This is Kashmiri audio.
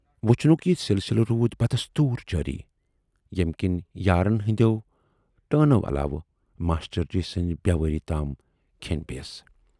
وُچھنُک یہِ سِلسِلہٕ روٗد بدستوٗر جٲری، ییمہِ کِنۍ یارَن ہٕندٮ۪و ٹٲنو علاوٕ ماشٹر جی سٕنز بیوٲری تام کھینۍ پییَس۔